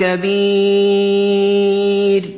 كَبِيرٌ